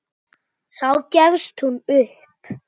Þá gefst hún upp.